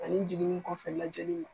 Ani jiginnin kɔfɛ lajɛliw.